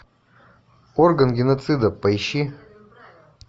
орган геноцида поищи